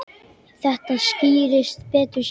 Þetta skýrist betur síðar.